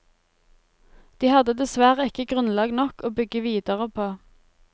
De hadde dessverre ikke grunnlag nok å bygge videre på.